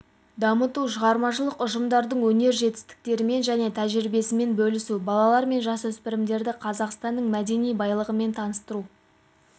дамыту шығармашылық ұжымдардың өнер жетістіктерімен және тәжірибесімен бөлісу балалар мен жасөспірімдерді қазақстанның мәдени байлығымен таныстыру